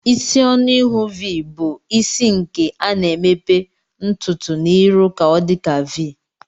Isi ọnụ ihu v bu isi nke ana emepe ntutu na irụ ka ọdika v.